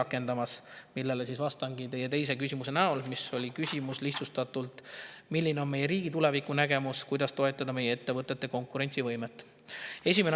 Nendest, vastates teie teisele küsimusele, mis on lihtsustatult: "Milline on meie riigi tulevikunägemus, kuidas toetada meie ettevõtete konkurentsivõimet?